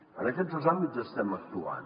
en aquests dos àmbits estem actuant